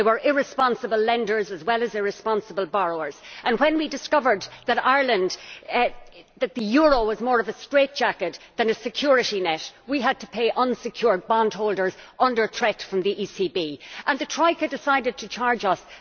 There were irresponsible lenders as well as irresponsible borrowers, and when we discovered that the euro was more of a straitjacket than a security net, we had to pay unsecured bondholders under threat from the ECB, and the Troika decided to charge us